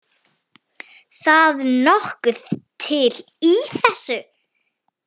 Það nokkuð til í þessu.